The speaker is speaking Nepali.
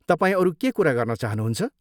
तपाईँ अरू के कुरा गर्न चाहनुहुन्छ?